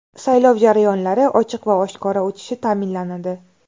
Saylov jarayonlari ochiq va oshkora o‘tishi ta’minlanadi.